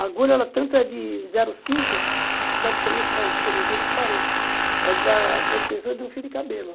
A agulha tanto é de zero cinco que praticamente você vai, por incrível que pareça, é da da espessura de um fio de cabelo.